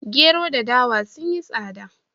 Gero da dawa sun yi tsada